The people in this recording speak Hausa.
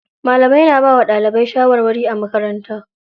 Malamai na bawa ɗalibai shawarwari a makaranta.